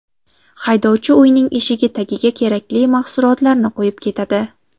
Haydovchi uyning eshigi tagiga kerakli mahsulotlarni qo‘yib ketadi.